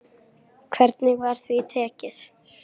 Hvernig var því tekið?